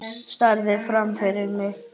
Starði fram fyrir mig.